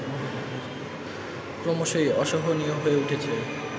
ক্রমশই অসহনীয় হয়ে উঠছে